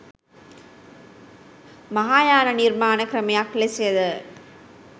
මහායාන නිර්මාණ ක්‍රමයක් ලෙසද